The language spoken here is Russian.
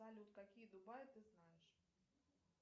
салют какие дубаи ты знаешь